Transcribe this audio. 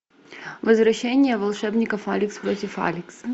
возвращение волшебников алекс против алекса